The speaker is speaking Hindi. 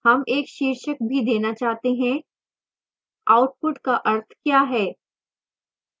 हम एक शीर्षक भी देना चाहते हैं output का अर्थ we है